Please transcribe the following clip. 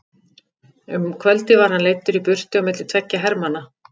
Um kvöldið var hann leiddur í burtu á milli tveggja hermanna.